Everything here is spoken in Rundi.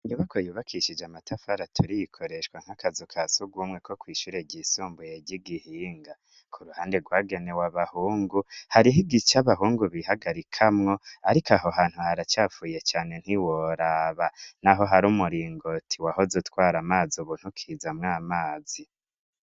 Inyubako yubakishije amatafara aturiye, ikoreshwa nk'akazu ka sugumwe ko kwishure ryisumbuye ry'i Gihinga, k'uruhande rwagenewe abahungu, hariho igice abahungu bihagarikamwo, ariko aho hantu haracafuye cane ntiworaba! N'aho hari umuringoti wahoze utwara amazi, ubu ntukizamwo amazi.